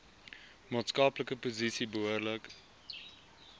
maatskaplike posisie behoorlik